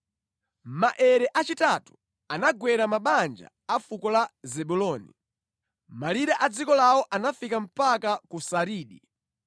Maere achitatu anagwera mabanja a fuko la Zebuloni: Malire a dziko lawo anafika mpaka ku Saridi.